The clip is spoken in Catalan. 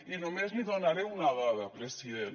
i només li donaré una dada president